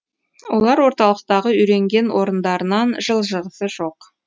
олар орталықтағы үйренген орындарынан жылжығысы жоқ